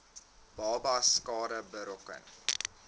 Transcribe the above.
babas skade berokken